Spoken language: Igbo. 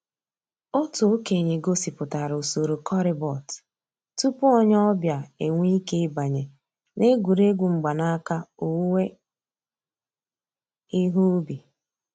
Ọ̀tù òkènye gọ̀sìpùtárà ǔsòrò corribot túpù ònyè ọ̀ bịa enwèè ìké ị̀bànyè n'ègwè́ré́gwụ̀ mgbànàkà òwùwé ìhè ǔbì.